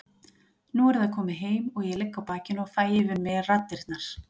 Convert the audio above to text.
Nú er það komið heim og ég ligg á bakinu og fæ yfir mig raddirnar.